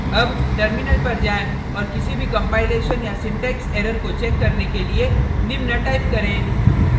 अब टर्मिनल पर जाएँ औऱ किसी भी कंपाइलेशन या सिंटेक्स एरर को चेक करने के लिए निम्न टाइप करें